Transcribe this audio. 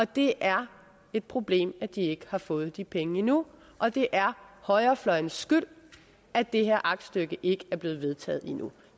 det er et problem at de ikke har fået de penge endnu og det er højrefløjene skyld at det her aktstykke ikke er blevet vedtaget endnu